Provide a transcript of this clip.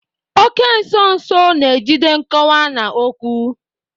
Oke nso nso na-ejide nkọwa na okwu.